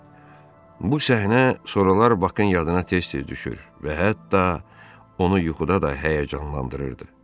Bu səhnə soralar Bakın yadına tez-tez düşür və hətta onu yuxuda da həyəcanlandırırdı.